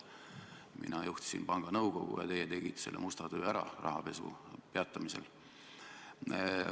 Mina juhtisin panga nõukogu ja teie tegite ära musta töö rahapesu peatamisel.